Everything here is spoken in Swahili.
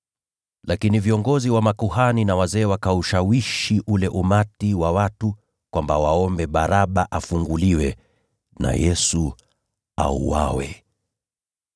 Lakini viongozi wa makuhani na wazee wakaushawishi ule umati wa watu kwamba waombe Baraba afunguliwe, naye Yesu auawe.